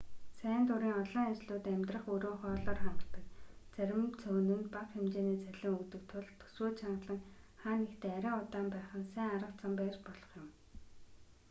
сайн дурын олон ажлууд амьдрах өрөө хоолоор хангадаг зарим цөөн нь бага хэмжээний цалин өгдөг тул төсвөө чангалаа хаа нэгтээ арай удаан байх нь сайн арга зам байж болох юм